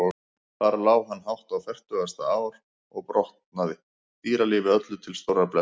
Þar lá hann hátt á fertugasta ár og rotnaði, dýralífi öllu til stórrar blessunar.